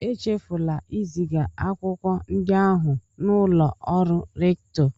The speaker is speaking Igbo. Echefula iziga akwụkwọ ndị ahụ n'ụlọ ọrụ rèktọ